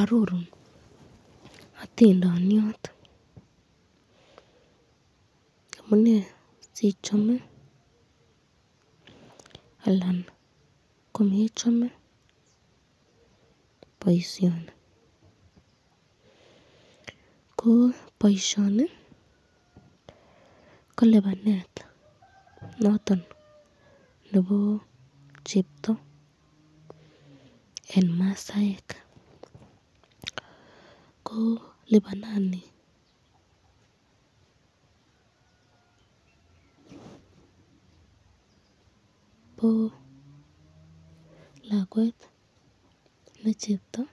Ororun atindoniot amune sichame anan komechame boisyoni kolibanet noton nebo chebto nebo masaek ,ko lipsnani bo lakwet ne cheptoo